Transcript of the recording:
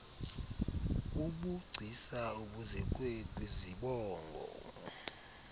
bubugcisa obuzekwe kwizibongo